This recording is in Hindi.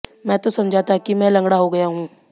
मैं तो समझा था कि मैं लंगडा हो गया हूं